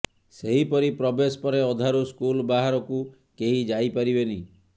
ସେହିପରି ପ୍ରବେଶ ପରେ ଅଧାରୁ ସ୍କୁଲ୍ ବାହାରକୁ କେହି ଯାଇପାରିବେନି